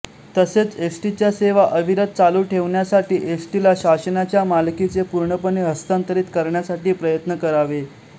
तसेच एसटीच्या सेवा अविरत चालू ठेवण्यासाठी एसटीला शासनाच्या मालकीचे पूर्णपणे हस्तांतरित करण्यासाठी प्रयत्न करावे